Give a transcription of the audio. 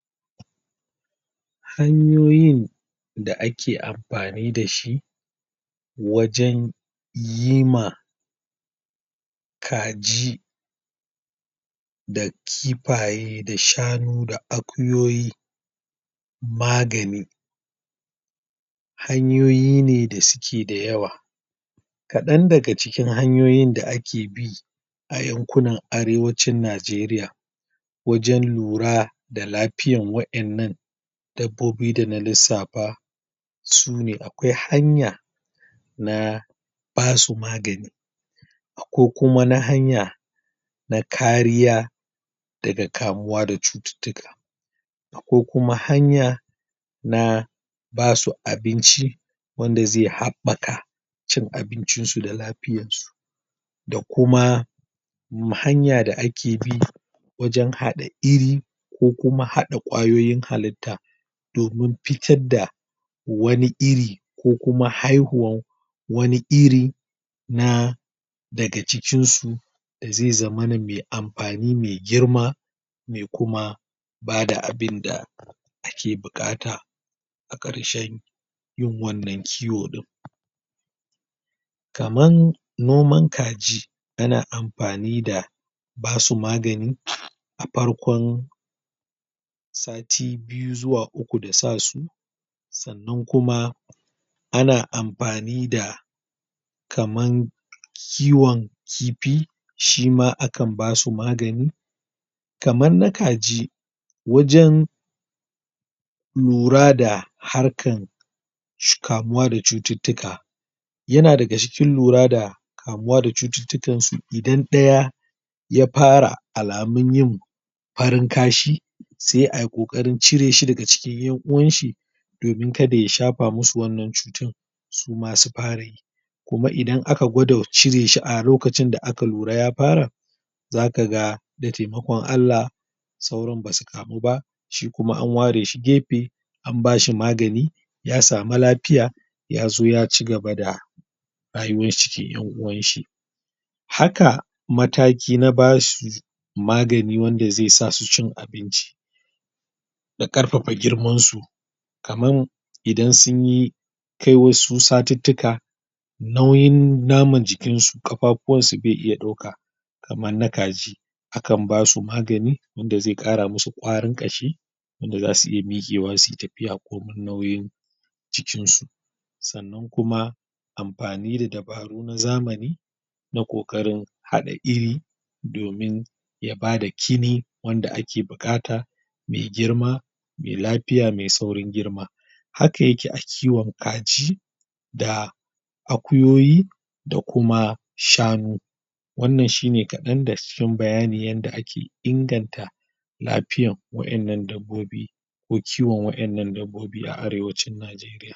hanyoyin da ake amfani dashi wajen yima kaji da kifaye da shanu da akuyoyi magani hanyoyi ne da suke da yawa kaɗan daga cikin hanyoyin da ake bi a yankunan arewanci nigeria wajen lura da lafiyar wayanan dabbobi dana lissafa sune akwai hanya na basu magani ko kuma na hanya na kariya daga kamuwa daga cututtuka ko kuma hanya na basu abinci wanda zai haɓɓa ka abincin su da lafiyan su da kuma hanya da ake bi wajen haɗa iri ko kuma haɗa kwayoyin halitta domin fitar da wani iri ko kuma haihuwan wani irin na daga cikin su zai zamana mai amfani mai girma mai kuma bada abinda ake buƙata a ƙarshen yin wannan kiwo din kaman noman kaji yana amfani da basu magani a farkon sati biyu zuwa uku da sasu sannan kuma ana amfani da kaman kiwon kifi shima akan basu magani kaman na kaji wajen lura da harkan kamuwa da cututtuka yana daga cikin lura da kamuwa da cututtukan su idan ɗaya ya fara alamun yin farin kashi sai a kokarin cire shi daga cikin ya'uwan shi domin kada ya shafa musu wannan cutar suma su farayi kuma idan aka gwada cire shi a lokacin da aka lura ya fara zakaga da taimakon Allah sauran basu kamu ba shi kuma an ware shi gefe an bashi magani ya samu lafiya ya zo ya cigaba da rayuwan shi cikin yan'uwan shi haka mataki na bashi su magani wanda zai sa su cin abinci da ƙarfafa girman su kaman idan sun yi kai wasu satuttuka nauyin naman jikin su kafafuwan su bai iya ɗauka kaman na kaji akan basu magani inda zai ƙara musu ƙwarin ƙashi wanda zasu iya miƙewa suyi tafiya komin nauyin jikin su sannan kuma amfani da dabaru na zamani na ƙoƙarin haɗa iri domin ya bada kibi wanda ake buƙata mai girma mai lafiya mai saurin girma haka yake a kiwon kaji da akuyoyi da kuma shanu wannan shine ƙadan daga cikin bayanin yadda ake inganta lafiyan wayanan dabbobi ko kiwon wadannan dabbobi a arewanci nigeria